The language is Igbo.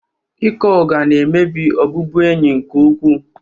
Ịkọ ụgha na-emebi ọbụbụenyi nke ukwuu